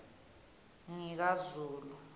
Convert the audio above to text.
ngikazulu